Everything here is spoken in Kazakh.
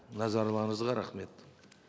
назарларыңызға рахмет